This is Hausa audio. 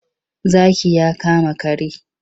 Zaki ya kama kare.